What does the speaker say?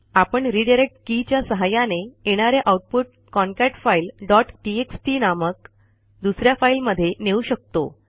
आपण रिडायरेक्ट के च्या सहाय्याने येणारे आऊटपुट concatefileटीएक्सटी नामक दुस या फाईलमध्ये नेऊ शकतो